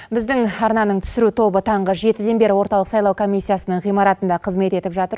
біздің арнаның түсіру тобы таңғы жетіден бері орталық сайлау комиссиясының ғимаратында қызмет етіп жатыр